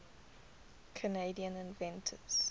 canadian inventors